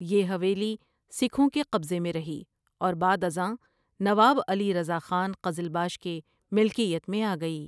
یہ حویلی سکھوں کے قبضہ میں رہی اور بعد ازاں نواب علی رضا خان قزلباش کے ملکیت میں آگئی ۔